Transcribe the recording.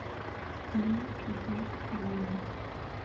фильм джош буна